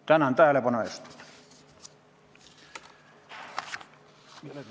Tänan tähelepanu eest!